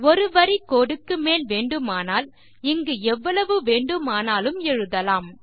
ஒரு வரி கோடு க்கு மேல் வேண்டுமானால் இங்கு எவ்வளவு வேண்டுமானாலும் எழுதலாம்